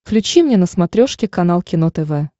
включи мне на смотрешке канал кино тв